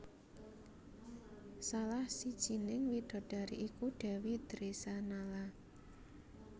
Salah sijining widodari iku Dèwi Dresanala